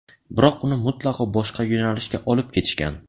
Biroq uni mutlaqo boshqa yo‘nalishga olib ketishgan.